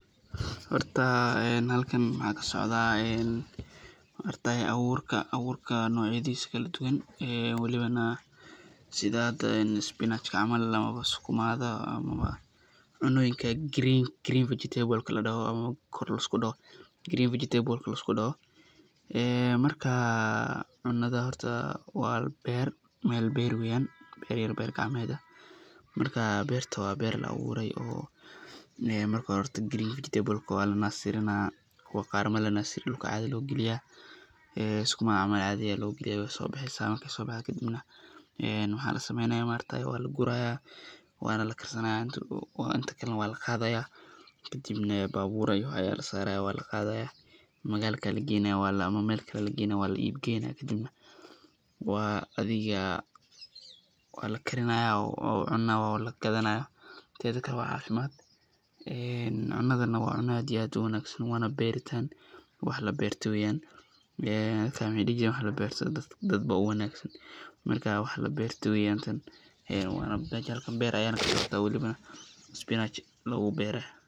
Horta halkan waxaa kasocdaa abuurka nocyadiisa kala duban, welibana sida spinach ama sukumaga ama cunooyinka green vegetables lisku doho, marka cunada horta waa beer, meel beer weeyan, marka beerta waa meel la abuure oo [green vegetables waa lanaasirina, kuwa qaar lama naasiriyo sida sukumaga dulka ayaa caadi loo galinaa, waay soo baxeysa markeey soo baxdo kadib waxaa lasameeya waa laguraaya waana la karsanaaya inta kalena waa laqaadaya kadibna babuur ayaa lasaaraya waa laqaadaya magaalka ayaa lageynaaya, ama meel kale ayaa lageynaaya waa la iib geeynaya, adhiga waa lakarinaaya oo cuno waa lagadanaaya, teeda kale waa cafimaad, cunadana waa cuno aad iyo aad uwanagsan waana beeritaan wax la beerte weeyan, meeshan beer ayaa iiga muuqataa oo weliba spinach lagu beere.